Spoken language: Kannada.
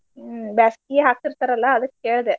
ಹ್ಮ್ ಬ್ಯಾಸ್ಗೀಗ್ ಹಾಕ್ತಿರ್ತಾರಲ್ಲಾ ಅದಕ್ ಕೇಳ್ದೆ.